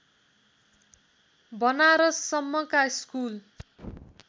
बनारससम्मका school